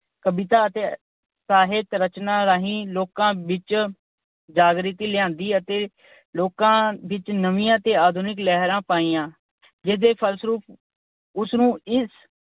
ਕਵਿਤਾ ਅਤੇ ਸਾਹਿਤ ਰਚਨਾ ਰਾਹੀਂ ਲੋਕਾਂ ਵਿੱਚ ਜਾਗ੍ਰਤੀ ਲਿਆਂਦੀ ਅਤੇ ਲੋਕਾਂ ਵਿੱਚ ਨਵੀਆਂ ਅਤੇ ਆਧੁਨਿਕ ਲਹਿਰਾਂ ਪਾਈਆਂ। ਜਿਸ ਦੇ ਫਲਸਰੂਪ ਉਸਨੂੰ ਇਸ